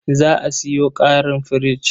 Za a sayo ƙarin firich.